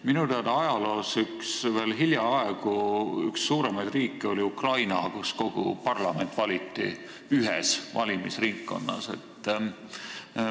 Minu teada oli veel hiljaaegu Ukraina üks suuremaid riike, kus kogu parlament valiti ühes valimisringkonnas.